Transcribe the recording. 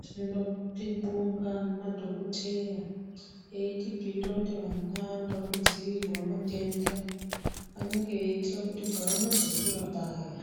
Tinoda kubonga madhokotheya eitibhiira kuti vana vanoda kudziirirwa matenda. Vanenge veiitira kuti pavanozokura paya,